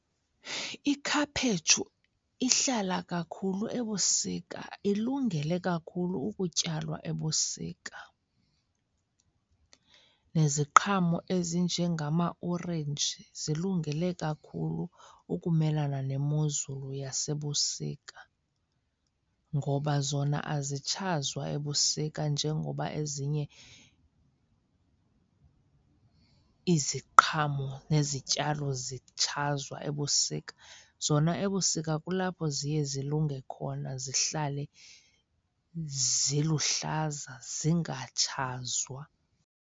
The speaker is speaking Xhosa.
Ikhaphetshu ihlala kakhulu ebusika, ilungele kakhulu ukutyalwa ebusika. Neziqhamo ezinjengamaorenji zilungele kakhulu ukumelana nemozulu yasebusika. Ngoba zona azitshazwa ebusika njengoba ezinye iziqhamo nezityalo zitshazwa ebusika. Zona ebusika kulapho ziye zilunge khona zihlale ziluhlaza zingatshzwa.